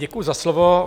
Děkuji za slovo.